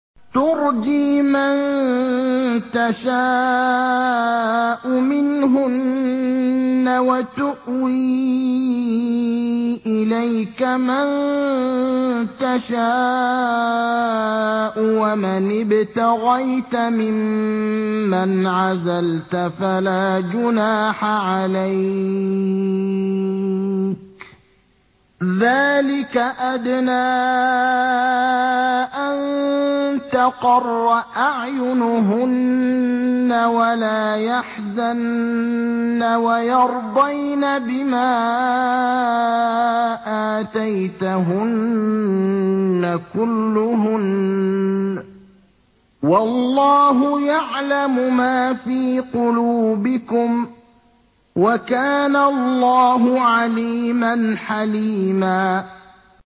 ۞ تُرْجِي مَن تَشَاءُ مِنْهُنَّ وَتُؤْوِي إِلَيْكَ مَن تَشَاءُ ۖ وَمَنِ ابْتَغَيْتَ مِمَّنْ عَزَلْتَ فَلَا جُنَاحَ عَلَيْكَ ۚ ذَٰلِكَ أَدْنَىٰ أَن تَقَرَّ أَعْيُنُهُنَّ وَلَا يَحْزَنَّ وَيَرْضَيْنَ بِمَا آتَيْتَهُنَّ كُلُّهُنَّ ۚ وَاللَّهُ يَعْلَمُ مَا فِي قُلُوبِكُمْ ۚ وَكَانَ اللَّهُ عَلِيمًا حَلِيمًا